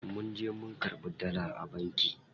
Munje mun karɓi dala a banki.